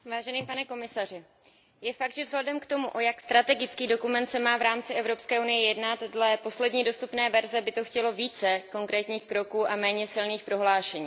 Pane komisaři, je fakt, že vzhledem k tomu, o jak strategický dokument se má v rámci EU jednat, dle poslední dostupné verze, by to chtělo více konkrétních kroků a méně silných prohlášení.